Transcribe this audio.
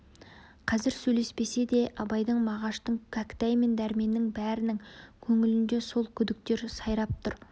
қазір сөйлеспесе де абайдың мағаштың кәкітай мен дәрменнің бәрінің көңілінде сол күдіктер сайрап тұр